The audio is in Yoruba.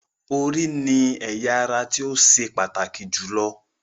Orí ni ẹ̀ya ara tó ṣe pàtàkì jù lọ